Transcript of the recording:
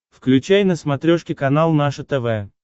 включай на смотрешке канал наше тв